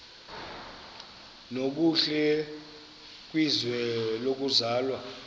nokuhle kwizwe lokuzalwa